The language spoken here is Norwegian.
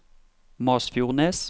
Masfjordnes